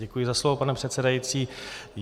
Děkuji za slovo, pane předsedající.